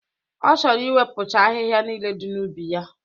Ọ chọrọ iwepụcha ahịhịa niile dị n'ubi ya.